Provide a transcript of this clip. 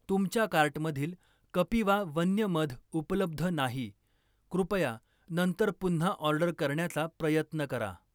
तुमच्या कार्टमधील कपिवा वन्य मध उपलब्ध नाही, कृपया नंतर पुन्हा ऑर्डर करण्याचा प्रयत्न करा.